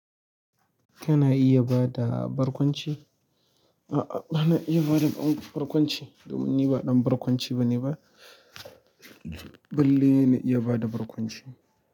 Kana iya bada barkwanci? A'a, bana iya bada barkwanci domin ni ba ɗan barkwanci bane ba. Balle na iya bada barkwanci.